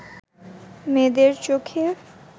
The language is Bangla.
মেয়েদের চোখে